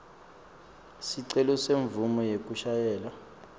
sicelo semvumo yekushayela